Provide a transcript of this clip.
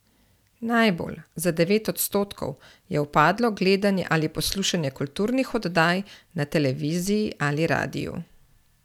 Najbolj, za devet odstotkov, je upadlo gledanje ali poslušanje kulturnih oddaj na televiziji ali radiu.